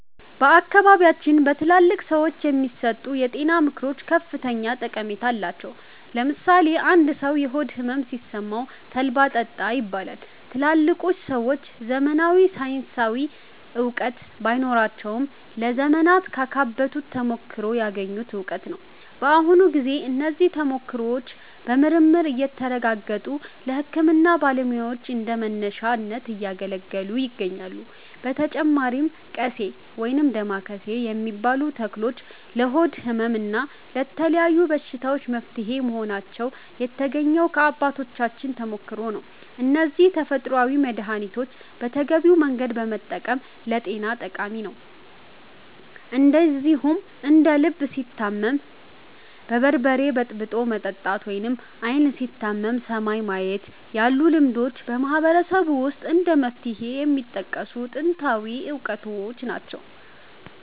በአካባቢያችን በትላልቅ ሰዎች የሚሰጡ የጤና ምክሮች ከፍተኛ ጠቀሜታ አላቸው። ለምሳሌ አንድ ሰው የሆድ ሕመም ሲሰማው 'ተልባ ጠጣ' ይባላል። ትላልቆቹ ሰዎች ዘመናዊ ሳይንሳዊ እውቀት ባይኖራቸውም፣ ለዘመናት ካካበቱት ተሞክሮ ያገኙት እውቀት ነው። በአሁኑ ጊዜ እነዚህ ተሞክሮዎች በምርምር እየተረጋገጡ ለሕክምና ባለሙያዎች እንደ መነሻ እያገለገሉ ይገኛሉ። በተጨማሪም 'ቀሴ' (ወይም ዳማከሴ) የሚባሉ ተክሎች ለሆድ ሕመም እና ለተለያዩ በሽታዎች መፍትሄ መሆናቸው የተገኘው ከአባቶቻችን ተሞክሮ ነው። እነዚህን ተፈጥሯዊ መድኃኒቶች በተገቢው መንገድ መጠቀም ለጤና ጠቃሚ ነው። እንደዚሁም እንደ 'ልብ ሲታመም በርበሬ በጥብጦ መጠጣት' ወይም 'ዓይን ሲታመም ሰማይን ማየት' ያሉ ልማዶችም በማህበረሰቡ ውስጥ እንደ መፍትሄ የሚጠቀሱ ጥንታዊ እውቀቶች ናቸው።